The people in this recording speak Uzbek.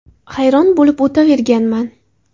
Hayron bo‘lib o‘tiraverganman.